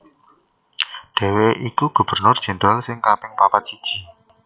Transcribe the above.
Dhèwèké iku Gubernur Jendral sing kaping papat siji